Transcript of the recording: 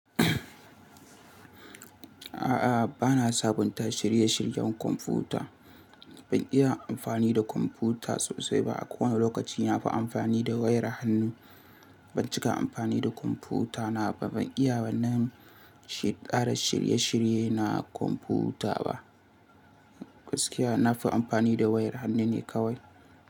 A'a, ba na sabunta shirye-shiryen kwamfuta. Ban iya amfani da kwamfuta sosai ba. A kowane lokaci na fi amfani da wayar hannu. Ban cika amfani da kwamfutana ba, ban iya wa na ƙara shirye-shirye na kwamfuta ba. Gaskiya na fi amfani da wayar hannu ne kawai.